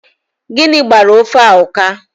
Gịnị gbara ofe a ụka?